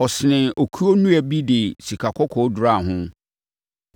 Ɔsenee okuo nnua bi de sikakɔkɔɔ duraa ho.